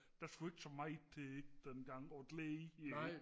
der skulle ikke så meget til dengang og glæde